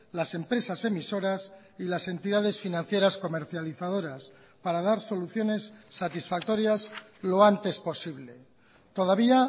las empresas emisoras y las entidades financieras comercializadoras para dar soluciones satisfactorias lo antes posible todavía